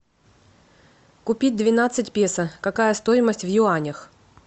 купить двенадцать песо какая стоимость в юанях